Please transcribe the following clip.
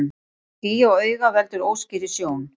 Ský á auga veldur óskýrri sjón.